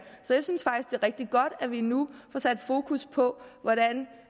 rigtig godt at vi nu får sat fokus på hvordan